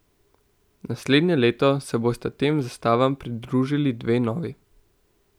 Naslednje leto se bosta tem zastavam pridružili dve novi.